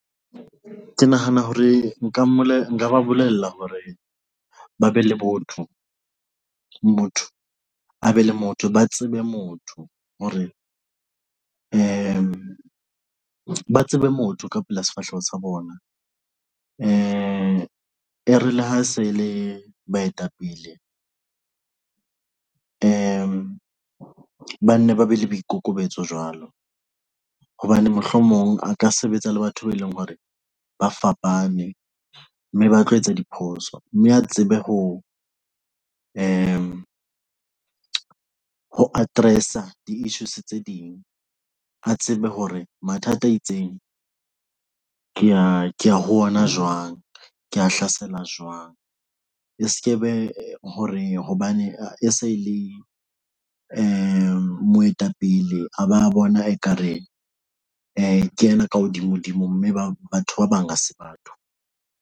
Ke nahana hore nka mole nka ba bolella hore ba be le botho, motho a be le motho, ba tsebe motho hore di tsebe motho ka pela sefahleho sa bona ee, e re ha se le baetapele ba nne ba be le boikokobetso jwalo hobane mohlomong a ka sebetsa le batho be leng hore ba fapane, mme ba tlo etsa diphoso mme a tsebe ho re ho address-a di-isssues tse ding, a tsebe hore mathata a itseng ho ona jwang Ko hlasela jwang E skaba hore hobane e se le moetapele, a ba bona ekareng ena ka hodimo, dimo mme ba batho ba bang ha se bathong.